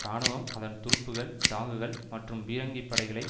இராணுவம் அதன் துருப்புக்கள் டாங்குகள் மற்றும் பீரங்கிப் படைகளை